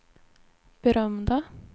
berömda